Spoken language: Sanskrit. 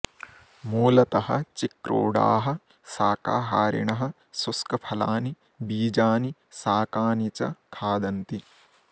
मूलतः चिक्रोडाः शाकाहारिणः शुष्कफलानि बीजानि शाकानि च खादन्ति